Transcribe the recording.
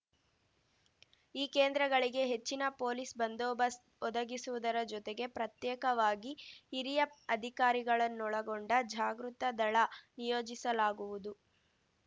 ಈ ಕೇಂದ್ರಗಳಿಗೆ ಹೆಚ್ಚಿನ ಪೊಲೀಸ್‌ ಬಂದೋಬಸ್ತ್ ಒದಗಿಸುವುದರ ಜೊತೆಗೆ ಪ್ರತ್ಯೇಕವಾಗಿ ಹಿರಿಯ ಅಧಿಕಾರಿಗಳನ್ನೊಳಗೊಂಡ ಜಾಗೃತ ದಳ ನಿಯೋಜಿಸಲಾಗುವುದು